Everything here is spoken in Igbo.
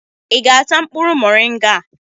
ị ga-ata mkpụrụ moringa a?